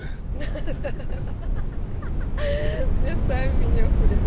ха-ха листай меня хули